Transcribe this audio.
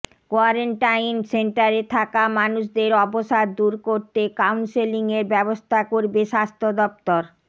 quarantine সেন্টারে থাকা মানুষদের অবসাদ দূর করতে কাউন্সেলিং এর ব্যবস্থা করবে স্বাস্থ্য দফতর